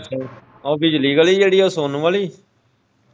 ਉਹ ਵਿਚਲੀ ਗਲੀ ਜਿਹੜੀ ਉਹ ਸੋਨੂੰ ਵਾਲੀ?